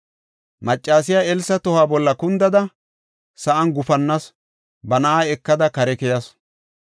Maccasiya Elsa tohuwa bolla kundada, sa7an gufannasu; ba na7aa ekada kare keyasu.